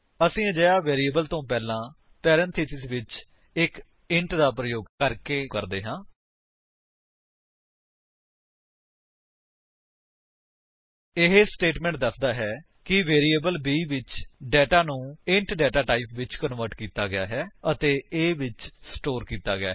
ਅਸੀ ਅਜਿਹਾ ਵੈਰਿਏਬਲ ਤੋਂ ਪਹਿਲਾਂ ਪਰੇਂਥੇਸਿਸ ਵਿੱਚ ਇੱਕ ਇੰਟ ਦਾ ਪ੍ਰਯੋਗ ਕਰਕੇ ਕਰਦੇ ਹਾਂ ਇਹ ਸਟੇਟਮੇਂਟ ਦੱਸਦਾ ਹੈ ਕਿ ਵੈਰਿਏਬਲ b ਵਿੱਚ ਡੇਟਾ ਨੂੰ ਇੰਟ ਡੇਟਾ ਟਾਈਪ ਵਿੱਚ ਕਨਵਰਟ ਕੀਤਾ ਗਿਆ ਹੈ ਅਤੇ a ਵਿੱਚ ਸਟੋਰ ਕੀਤਾ ਗਿਆ ਹੈ